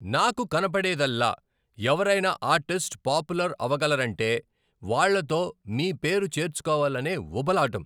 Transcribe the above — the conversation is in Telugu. నాకు కనపడేదల్లా ఎవరైనా ఆర్టిస్ట్ పాపులర్ అవగలరంటే వాళ్ళతో మీ పేరు చేర్చుకోవాలనే ఉబలాటం.